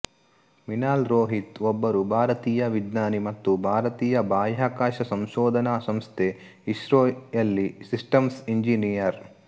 ಮಿನಾಲ್ ರೋಹಿತ್ ಒಬ್ಬರು ಭಾರತೀಯ ವಿಜ್ಞಾನಿ ಮತ್ತು ಭಾರತೀಯ ಬಾಹ್ಯಾಕಾಶ ಸಂಶೋಧನಾ ಸಂಸ್ಥೆ ಇಸ್ರೋ ಯಲ್ಲಿ ಸಿಸ್ಟಮ್ಸ್ ಎಂಜಿನಿಯರ್